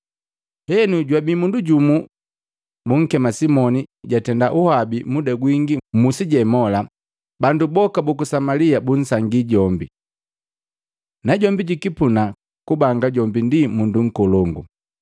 Henu jwabii mundu jumu bunkema Simoni jatenda uhabi muda gwingi mmusi jemola, bandu boka buku Samalia bunsangii jombi, najombi jukipuna kubanga jombi mundu nkolongu.